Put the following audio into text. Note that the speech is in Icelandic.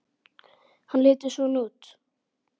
Hann lítur svona út